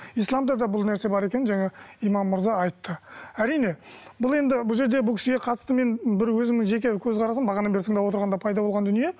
исламда да бұл нәрсе бар екенін жаңа имам мырза айтты әрине бұл енді бұл жерде бұл кісіге қатысты мен бір өзімнің жеке көзқарасым бағанадан бері тыңдап отырғанда пайда болған дүние